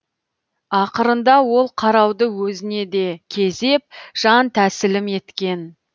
ақырында ол қарауды өзіне де кезеп жан тәсілім еткен